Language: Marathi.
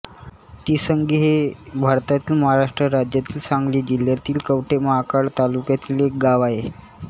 तिसंगी हे भारतातील महाराष्ट्र राज्यातील सांगली जिल्ह्यातील कवठे महांकाळ तालुक्यातील एक गाव आहे